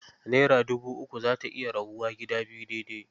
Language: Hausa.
Naira dubu uku za ta iya rabuwa gida biyu daidai.